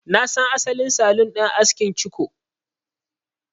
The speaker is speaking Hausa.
Na san asalin salon askin ciko.